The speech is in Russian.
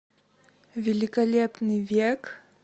великолепный век